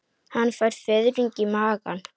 Hann fær fiðring í magann.